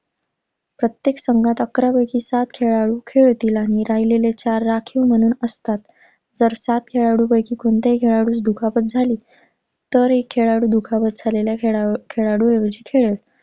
प्रत्येक संघात अकरा पैकी सात खेळाडू खेळतील आणि राहिलेले चार राखीव म्हणून असतात. जर सात खेळाडूंपैकी कोणत्याही खेळाडूस दुखापत झाली तर एक खेळाडू दुखापत झालेल्या खेळा~खेळाडूऐवजी खेळेल.